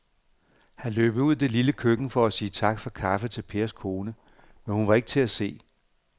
Han løb ud i det lille køkken for at sige tak for kaffe til Pers kone, men hun var ikke til at se.